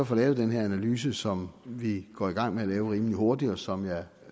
får lavet den her analyse som vi går i gang med at lave rimelig hurtigt og som jeg